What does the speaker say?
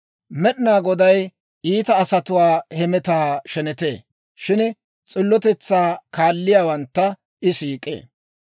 Med'inaa Goday iita asatuwaa hemetaa shenetee; shin s'illotetsaa kaalliyaawantta I siik'ee.